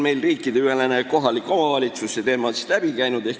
Riikideülene kohaliku omavalitsuse teema on siit ka läbi käinud.